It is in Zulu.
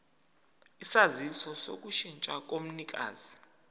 isaziso sokushintsha komnikazi